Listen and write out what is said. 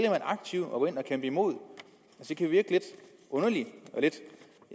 aktivt at gå ind og kæmpe imod det kan virke lidt underligt